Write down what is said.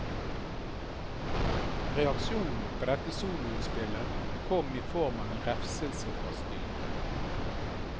Reaksjonen på dette soloutspillet kom i form av en refselse fra styret.